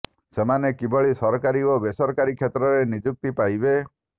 ସେମାନେ କିଭଳି ସରକାରୀ ଓ ବେସରକାରୀ କ୍ଷେତ୍ରରେ ନିଯୁକ୍ତି ପାଇବେ